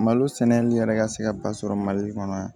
Malo sɛnɛli yɛrɛ ka se ka ba sɔrɔ mali kɔnɔ yan